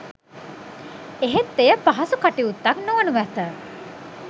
එහෙත් එය පහසු කටයුත්තක් නොවනු ඇත